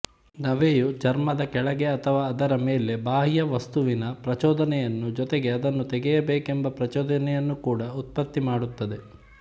ನವೆಯು ಚರ್ಮದ ಕೆಳಗೆ ಅಥವಾ ಅದರ ಮೇಲೆ ಬಾಹ್ಯ ವಸ್ತುವಿನ ಪ್ರಚೋದನೆಯನ್ನು ಜೊತೆಗೆ ಅದನ್ನು ತೆಗೆಯಬೇಕೆಂಬ ಪ್ರಚೋದನೆಯನ್ನು ಕೂಡ ಉತ್ಪತ್ತಿಮಾಡುತ್ತದೆ